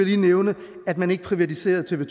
lige nævne at man ikke privatiserede tv